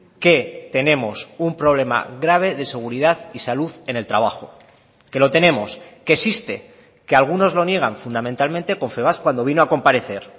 que tenemos un problema grave de seguridad y salud en el trabajo que lo tenemos que existe que algunos lo niegan fundamentalmente confebask cuando vino a comparecer